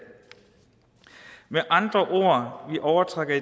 med andre ord overtrækker